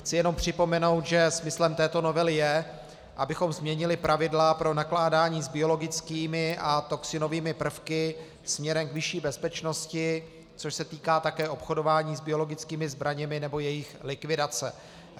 Chci jenom připomenout, že smyslem této novely je, abychom změnili pravidla pro nakládání s biologickými a toxinovými prvky směrem k vyšší bezpečnosti, což se týká také obchodování s biologickými zbraněmi nebo jejich likvidace.